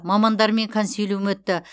мамандармен консилиум өтті